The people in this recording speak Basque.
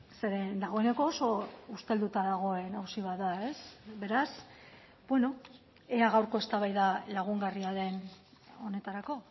zeren dagoeneko oso ustelduta dagoen auzi bat da beraz ea gaurko eztabaida lagungarria den honetarako